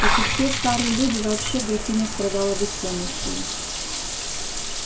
как и все старые люди вообще графиня страдала бессонницею